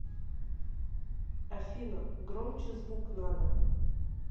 афина громче звук надо